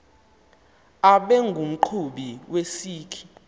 abe ngumqhubi wesikhi